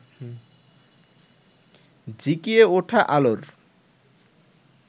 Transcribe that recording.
ঝিকিয়ে ওঠা আলোর